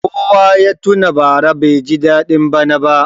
Kowa ya tuna bara baiji daɗin bana ba.